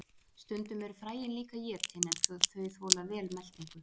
stundum eru fræin líka étin en þau þola vel meltingu